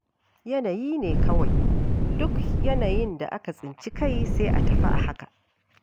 Yanayi ne kawai, duk yanayin da aka tsinci kai, sai a tafi a haka.